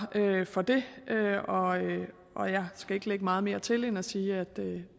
for det og jeg skal ikke lægge meget mere til end at sige at